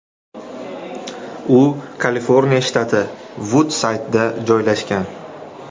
U Kaliforniya shtati Vud-Saydda joylashgan.